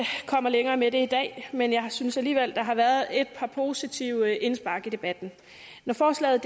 længere med det i dag men jeg synes alligevel der har været et par positive indspark i debatten når forslaget